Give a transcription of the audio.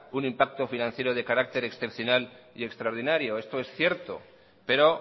un impacto financiero de carácter excepcional y extraordinario esto es cierto pero